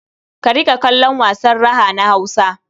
Ka riƙa kallon wasan raha na Hausa.